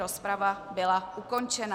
Rozprava byla ukončena.